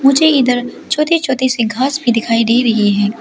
मुझे इधर छोटी छोटी सी घास भी दिखाई दे रही है।